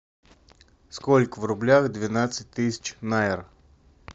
сколько в рублях двенадцать тысяч наэр